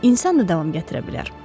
İnsan da davam gətirə bilər.